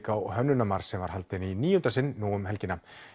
á Hönnunarmars sem var haldinn í níunda sinn nú um helgina